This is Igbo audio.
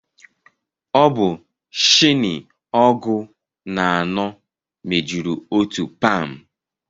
Ọ bụ shini ọgụ na anọ mejuru otu pam